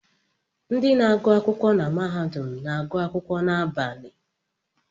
Ndị na-agụ akwụkwọ na mahadum na-agụ akwụkwọ n'abalị